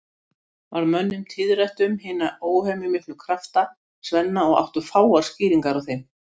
Varð mönnum tíðrætt um hina óhemjumiklu krafta Svenna og áttu fáar skýringar á þeim.